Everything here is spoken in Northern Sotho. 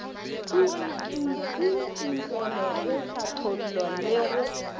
tsintsinkelo go hlatholla le go